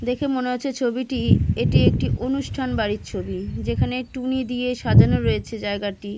দেখা মনে হচ্ছে ছবিটি এটি একটি অনুষ্ঠান বাড়ির ছবি যেখানে টুনি দিয়ে সাজানো আছে জায়গাটি।